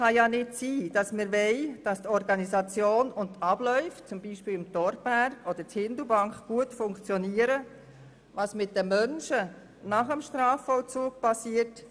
Es kann nicht sein, dass die Organisation und die Abläufe zum Beispiel im Torberg oder in Hindelbank gut funktionieren, uns dann aber nicht interessiert, was mit den Menschen nach dem Strafvollzug passiert.